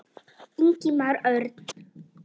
Ingimar Örn.